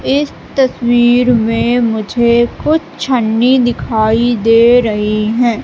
इस तस्वीर में मुझे कुछ छन्नी दिखाई दे रही हैं।